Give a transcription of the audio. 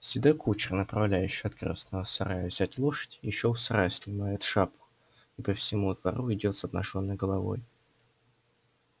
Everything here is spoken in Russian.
седой кучер направляющий от красного сарая взять лошадь ещё у сарая снимает шапку и по всему двору идёт с обнажённой головой